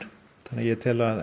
þannig að ég tel að